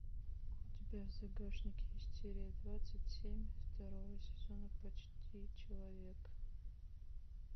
у тебя в загашнике есть серия двадцать семь второго сезона почти человек